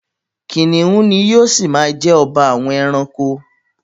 Kìnìún ni yóò ṣi ma jẹ́ ọba àwọn ẹranko.